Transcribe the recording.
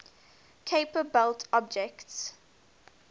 kuiper belt objects